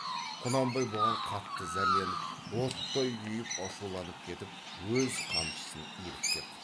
құнанбай бұған қатты зәрленіп оттай күйіп ашуланып кетіп өз қамшысын иіріп кеп